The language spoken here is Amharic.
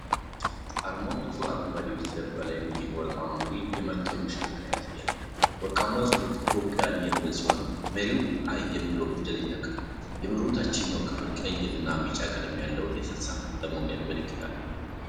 አርማው ጥቁር አረንጓዴ በስተጀርባ ላይ የሚገኝ ወርቃማ መሪ (የመርከብ መሽከርከሪያ) ያሳያል። ወርቃማው ጽሁፍ "ETHIOPIAN" የሚል ሲሆን፣ መሪው 'I' የሚለውን ፊደል ይተካል። የመሪው ታችኛው ክፍል ቀይ እና ቢጫ ቀለም ያለው የተንሳፋፊ ሞገድ ምልክት አለው።